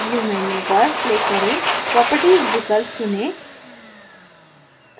view menu पर click करें properties विकल्प चुनें